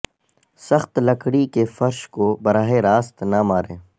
سخت لکڑی کے فرش کو براہ راست نہ ماریں